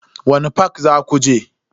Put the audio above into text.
Wani fak zaku je?